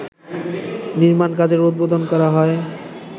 নির্মাণ কাজের উদ্বোধন করা হয়